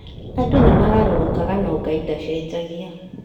Andũ nĩmagarũrũkaga no Ngai ndacenjagia